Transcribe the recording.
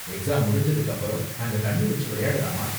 Exam முடிஞ்சதுக்கு அப்பறம் நாங்க தண்ணி வெச்சு விளையாடலாமா?